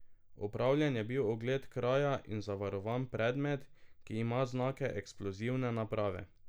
Opravljen je bil ogled kraja in zavarovan predmet, ki ima znake eksplozivne naprave.